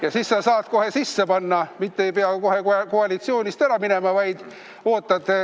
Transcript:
Ja pärast sa saad selle kohe sisse panna, mitte ei pea kohe koalitsioonist ära minema, vaid ootad.